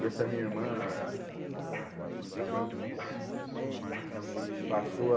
E essa minha irmã também passou a...